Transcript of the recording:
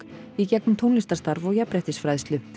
í gegnum tónlistarstarf og jafnréttisfræðslu